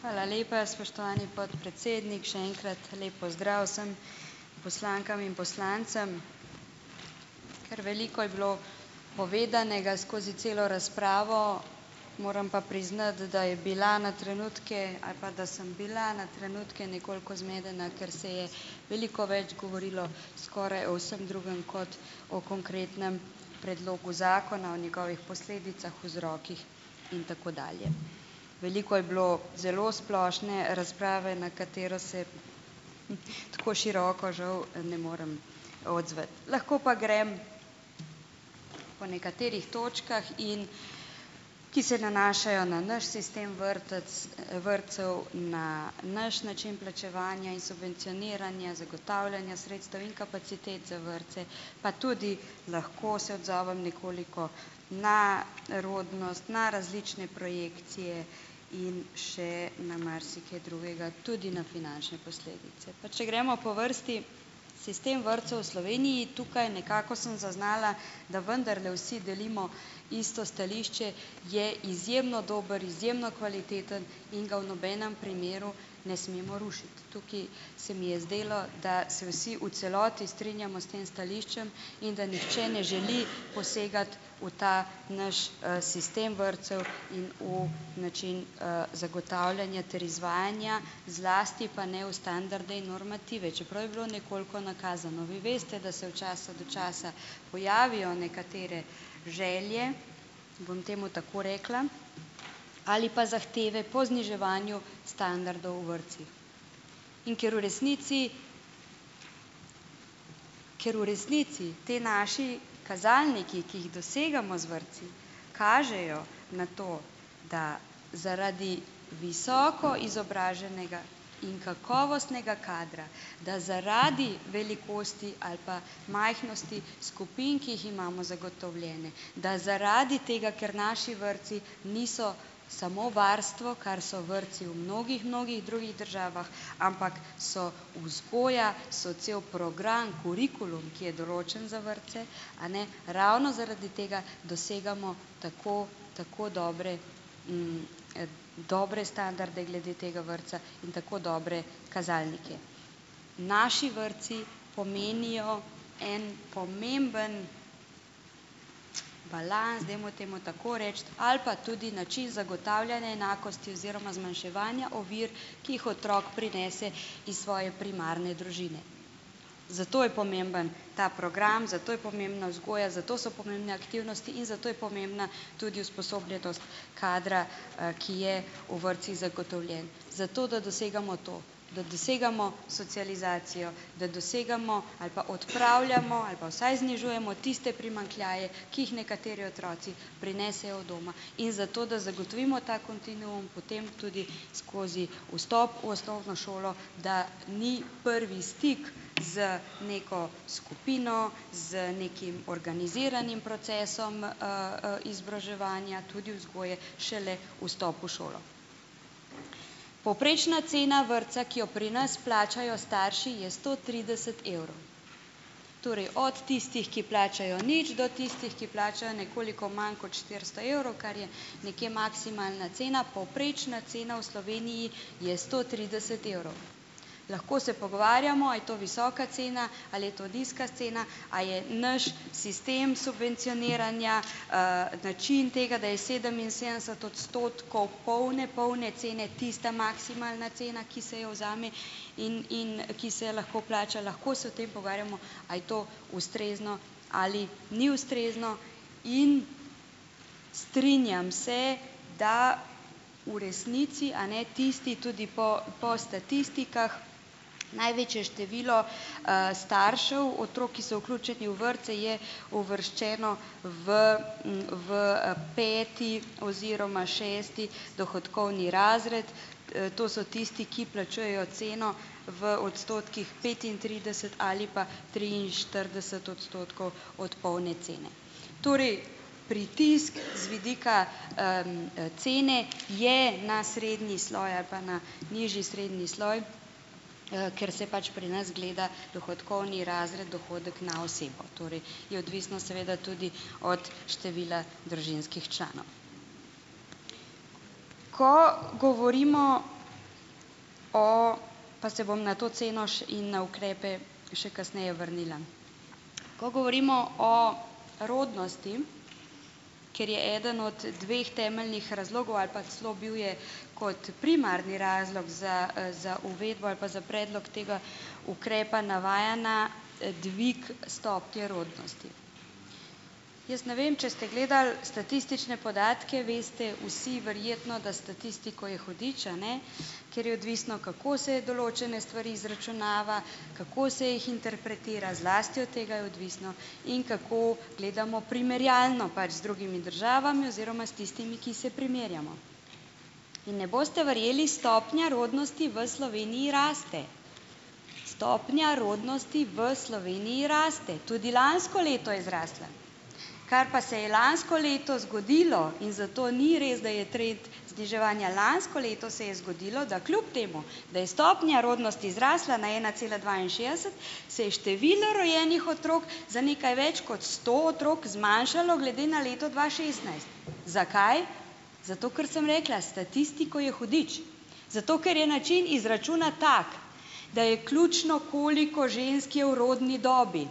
Hvala lepa, spoštovani podpredsednik! Še enkrat lep pozdrav vsem poslankam in poslancem! Kar veliko je bilo povedanega skozi celo razpravo, moram pa priznati, da je bila na trenutke ali pa da sem bila na trenutke nekoliko zmedena, ker se je veliko več govorilo skoraj o vsem drugem kot o konkretnem predlogu zakona, o njegovih posledicah, vzrokih in tako dalje. Veliko je bilo zelo splošne razprave, na katero se tako široko žal ne morem odzvati. Lahko pa grem po nekaterih točkah in, ki se nanašajo na naš sistem vrtec, vrtcev, na naš način plačevanja in subvencioniranja, zagotavljanja sredstev in kapacitet za vrtce, pa tudi, lahko se odzovem, nekoliko, ne rodnost, na različne projekcije in še na marsikaj drugega, tudi na finančne posledice. Pa če gremo po vrsti, sistem vrtcev v Sloveniji. Tukaj nekako sem zaznala, da vendarle vsi delimo isto stališče - je izjemno dobro, izjemno kvaliteten in ga v nobenem primeru ne smemo rušiti. Tukaj se mi je zdelo, da se vsi v celoti strinjamo s tem stališčem in da nihče ne želi posegati v ta naš sistem vrtcev in v način zagotavljanja ter izvajanja, zlasti pa ne v standarde in normative, čeprav je bilo nekoliko nakazano. Vi veste, da se od časa do časa pojavijo nekatere želje, bom temu tako rekla, ali pa zahteve po zniževanju standardov v vrtcih. In ker v resnici ker v resnici, ti naši kazalniki, ki jih dosegamo z vrtci, kažejo na to, da zaradi visoko izobraženega in kakovostnega kadra, da zaradi velikosti ali pa majhnosti skupin, ki jih imamo zagotovljene, da zaradi tega, ker naši vrtci niso samo varstvo, kar so vrtci v mnogih, mnogih drugih državah, ampak so vzgoja, so cel program, kurikulum, ki je določen za vrtce, a ne, ravno zaradi tega dosegamo tako, tako dobre dobre standarde glede tega vrtca in tako dobre kazalnike. Naši vrtci pomenijo en pomemben balans, dajmo temu tako reči, ali pa tudi način zagotavljanja enakosti oziroma zmanjševanja ovir, ki jih otrok prinese iz svoje primarne družine. Zato je pomemben ta program, zato je pomembna vzgoja, zato so pomembne aktivnosti in zato je pomembna tudi usposobljenost kadra, ki je v vrtcih zagotovljen - za to, da dosegamo to. Da dosegamo socializacijo, da dosegamo ali pa odpravljamo ali pa vsaj znižujemo tiste primanjkljaje, ki jih nekateri otroci prinesejo od doma, in zato, da zagotovimo ta kontinuum potem tudi skozi vstop v osnovno šolo, da ni prvi stik z neko skupino, z nekim organiziranim procesom izobraževanja, tudi vzgoje, šele vstop v šolo. Povprečna cena vrtca, ki jo pri nas plačajo starši, je sto trideset evrov. Torej, od tistih, ki plačajo nič, do tistih, ki plačajo nekoliko manj kot štiristo evrov, kar je nekje maksimalna cena. Povprečna cena v Sloveniji je sto trideset evrov. Lahko se pogovarjamo, a je to visoka cena, ali je to nizka cena, a je naš sistem subvencioniranja, način tega, da je sedeminsedemdeset odstotkov polne, polne cene tista maksimalna cena, ki se jo vzame in in ki se lahko plača - lahko se o tem pogovarjamo, a je to ustrezno ali ni ustrezno in strinjam se, da v resnici, a ne, tisti, tudi po po statistikah, največje število staršev otrok, ki so vključeni v vrtce, je uvrščeno v v peti oziroma šesti dohodkovni razred. To so tisti, ki plačujejo ceno v odstotkih petintrideset ali pa triinštirideset odstotkov od polne cene. Torej pritisk z vidika cene je na srednji sloj ali pa na nižji srednji sloj, ker se pač pri nas gleda dohodkovni razred, dohodek na osebo. Torej je odvisno seveda tudi od števila družinskih članov. Ko govorimo o - pa se bom na to ceno in na ukrepe še kasneje vrnila. Ko govorimo o rodnosti, ker je eden od dveh temeljnih razlogov, ali pa celo bil je kot primarni razlog za za uvedbo ali pa za predlog tega ukrepa, navaja na dvig stopnje rodnosti. Jaz ne vem, če ste gledali statistične podatke, veste vsi verjetno, da s statistiko je hudič, a ne, ker je odvisno, kako se je določene stvari izračunava, kako se jih interpretira, zlasti od tega je odvisno, in kako gledamo primerjalno pač z drugimi državami oziroma s tistimi, ki se primerjamo. In ne boste verjeli - stopnja rodnosti v Sloveniji raste, stopnja rodnosti v Sloveniji raste. Tudi lansko leto je zrasla, kar pa se je lansko leto zgodilo, in zato ni res, da je trend zniževanja - lansko leto se je zgodilo, da kljub temu da je stopnja rodnosti zrasla na ena cela dvainšestdeset, se je število rojenih otrok za nekaj več kot sto otrok zmanjšalo glede na leto dva šestnajst. Zakaj? Zato ker, sem rekla - s statistiko je hudič. Zato, ker je način izračuna tak, da je ključno, koliko žensk je v rodni dobi.